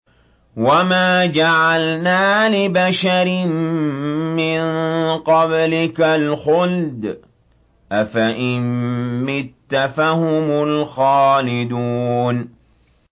وَمَا جَعَلْنَا لِبَشَرٍ مِّن قَبْلِكَ الْخُلْدَ ۖ أَفَإِن مِّتَّ فَهُمُ الْخَالِدُونَ